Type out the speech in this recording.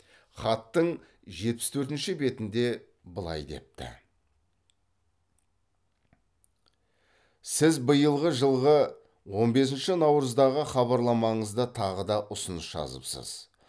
хаттың жетпіс төртінші бетінде былай депті сіз биылғы жылғы он бесінші наурыздағы хабарламаңызда тағы да ұсыныс жазыпсыз